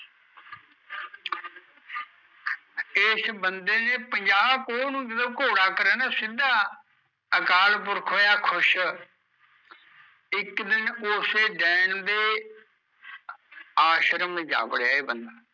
ਏਸ ਬੰਦੇ ਨੇ ਜਦੋਂ ਪੰਜਾਹ ਪੋਹ ਨੂ ਆਪਣਾ ਘੋੜਾ ਕਰਿਆ ਨਾ ਸਿੱਧਾ, ਅਕਾਲ ਪੁਰਖ ਹੋਇਆ ਖੁਸ਼ ਇੱਕ ਦਿਨ ਓਸੇ ਨੈਣ ਦੇ ਆਸ਼ਰਮ ਜਾਂ ਵੜਿਆ ਇਹ ਬੰਦਾ